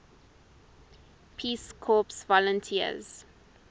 peace corps volunteers